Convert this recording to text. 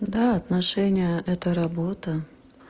да отношения это работа